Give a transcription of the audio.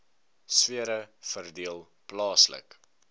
sfere verdeel plaaslik